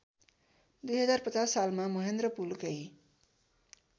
२०५० सालमा महेन्द्रपुलकै